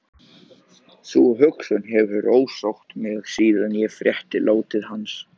Sú hugsun hefur ásótt mig síðan ég frétti látið hans